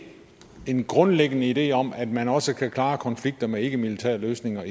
en grundlæggende idé i socialdemokratiet om at man også kan klare konflikter med ikkemilitære løsninger